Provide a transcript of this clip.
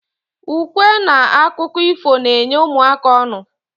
Ukwe n akụkọ ifo n'enye ụmụaka ọnu